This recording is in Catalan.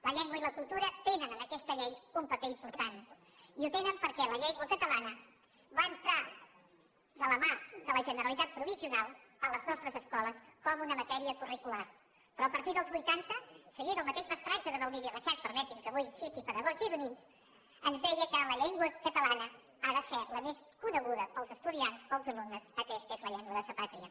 la llengua i la cultura tenen en aquesta llei un paper important i el tenen perquè la llengua catalana va entrar de la mà de la generalitat provisional a les nostres escoles com una matèria curricular però a partir dels vuitanta seguint el mateix mestratge de baldiri reixac permetin que avui citi pedagogs gironins ens deia que la llengua catalana ha de ser la més coneguda pels estudiants pels alumnes atès que és la llengua de sa pàtria